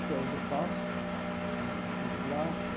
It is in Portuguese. Até hoje eu faço, mas assim, de graça.